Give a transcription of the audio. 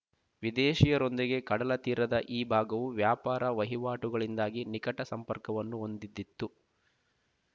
ವಿದೇಶಿಯರೊಂದಿಗೆ ಕಡಲ ತೀರದ ಈ ಭಾಗವು ವ್ಯಾಪಾರ ವಹಿವಾಟುಗಳಿಂದಾಗಿ ನಿಕಟ ಸಂಪರ್ಕವನ್ನು ಹೊಂದಿದ್ದಿತು